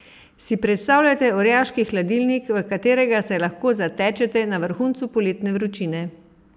Si predstavljate orjaški hladilnik, v katerega se lahko zatečete na vrhuncu poletne vročine?